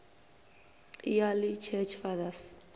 early church fathers